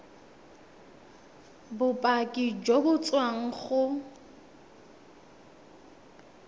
bopaki jo bo tswang go